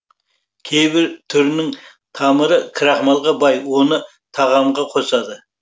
кейбір түрінің тамыры крахмалға бай оны тағамға қосады